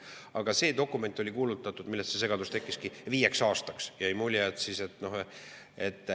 Aga see dokument oli selliseks kuulutatud – sellest see segadus tekkiski – viieks aastaks.